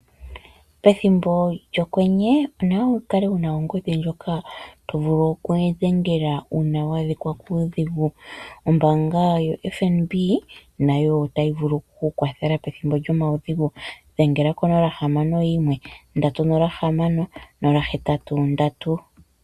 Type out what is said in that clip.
Pethimbo lyokwenye, onawa wu kale wuna ongodhi ndjoka tovulu oku dhengela uuna wa adhikwa kuudhigu, ombaanga yaFNB nayo otayi vulu oku ku kwathela pethimbo lyomaudhigu, dhengele 061 306 083.